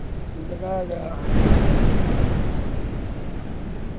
जगाया गया है और अति सुन्दर दिख रहा है।